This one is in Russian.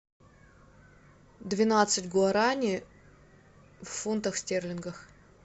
двенадцать гуарани в фунтах стерлингах